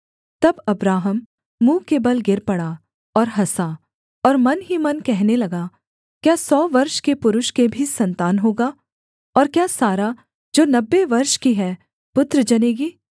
तब अब्राहम मुँह के बल गिर पड़ा और हँसा और मन ही मन कहने लगा क्या सौ वर्ष के पुरुष के भी सन्तान होगा और क्या सारा जो नब्बे वर्ष की है पुत्र जनेगी